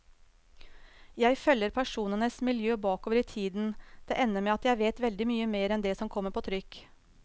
Jeg følger personenes miljø bakover i tiden, det ender med at jeg vet veldig mye mer enn det som kommer på trykk.